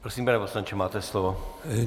Prosím, pane poslanče, máte slovo.